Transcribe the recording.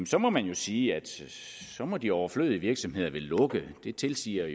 så må man jo sige at så må de overflødige virksomheder vel lukke det tilsiger